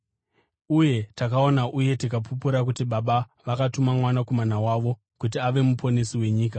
Uye takaona uye tikapupura kuti Baba vakatuma Mwanakomana wavo kuti ave Muponesi wenyika.